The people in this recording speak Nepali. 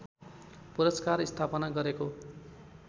पुरस्कार स्थापना गरेको